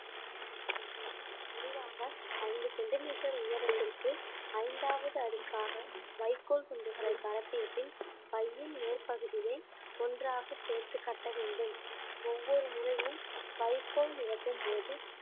செய்ய வேண்டும் முடிவாக ஐந்து சென்டிமீட்டர் உயரத்திற்கு ஐந்தாவது அடுக்காக வைக்கோல் துண்டுகளை பரப்பிய பின் பையின் மேற்பகுதியை ஒன்றாக சேர்த்து கட்ட வேண்டும் ஒவ்வொரு முறையும் வைக்கோல் நிரப்பும்போது